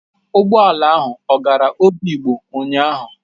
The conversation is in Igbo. Ụgbọ ala ahụ ọ gara Obigbo ụnyahụ?